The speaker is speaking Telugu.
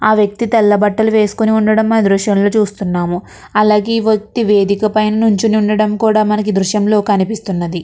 ఆ వ్యక్తి తెల్ల బట్టలు వేసుకుని ఉండడం మనమి దృశ్యంలో చూస్తున్నాము అలాగే వత్తి వేదికపై నుంచి ఉండడం కూడా మనకు దృశ్యంలో కనిపిస్తున్నది.